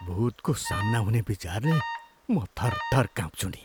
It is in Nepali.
भुतको सामना हुने विचारले म थरथर काँप्छु नि।